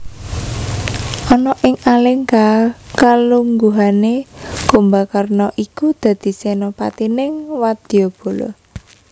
Ana ing Alengka kalungguhané Kumbakarna iku dadi senopatining wadyabala